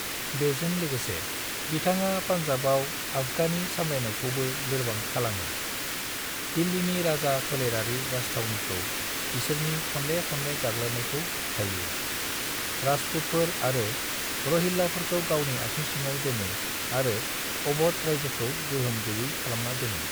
बेजों लोगोसे, बिथाङा पानजाबाव आफगानि सामलायनायखौबो लोरबां खालामो, दिल्लिनि राजा फोलेरारि राजथावनिखौ बिसोरनि खनले-खनले गाग्लोबनायखौ होबथायो, राजपुतफोर आरो रोहिल्लाफोरखौ गावनि आथिं सिङाव दोनो आरो अवध रायजोखौ गोहोम गैयै खालामना दोनो।